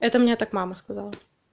это мне так мама сказала